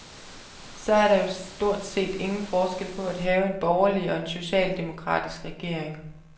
Så er der jo stort set ingen forskel på at have en borgerlig og en socialdemokratisk regering.